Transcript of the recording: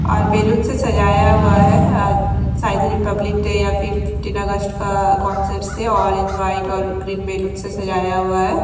और बैलून से सजाया हुआ है अ शायद रिपब्लिक डे या फिर फिफ्टीन अगस्ट का कांसेप्ट से ऑरेंज वाइट और ग्रीन बैलून से सजाया हुआ है।